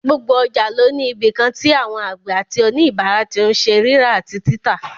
Gbogbo ọjà ló ní ibìkan tí àwọn àgbẹ̀ àti òníbàárà tí n ṣe rírà àti títà